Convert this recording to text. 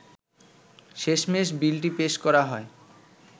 শেষমেশ বিলটি পেশ করা হয়